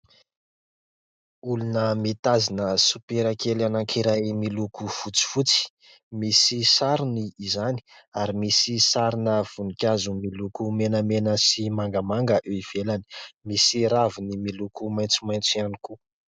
Olona mitazona soperakely anankiray miloko fotsy fotsy, misy sarony izany, ary misy sarina voninkazo miloko menamena sy mangamanga ivelany, misy raviny miloko maintso maintso ihany koa.